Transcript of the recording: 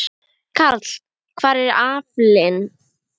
Karl: Hver er aflinn?